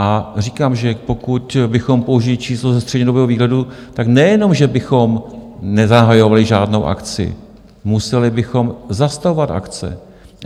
A říkám, že pokud bychom použili číslo ze střednědobého výhledu, tak nejenom že bychom nezahajovali žádnou akci, museli bychom zastavovat akce.